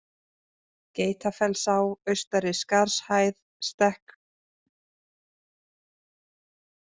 Geitafellsá, Austari-Skarðshæð, Stekkásar, Loftarbrekka